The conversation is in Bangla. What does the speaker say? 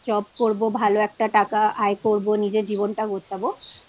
Nine to fivejob করবো ভালো একটা টাকা আয় করবো নিজের জীবনটা গোছাবো